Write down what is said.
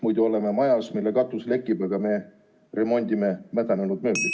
Muidu me justkui oleme majas, mille katus lekib, aga meie remondime mädanenud mööblit.